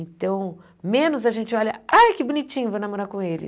Então, menos a gente olha, ai, que bonitinho, vou namorar com ele.